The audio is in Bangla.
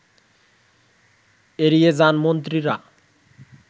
এড়িয়ে যান মন্ত্রীরা